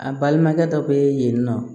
A balimakɛ dɔ bɛ yen nɔ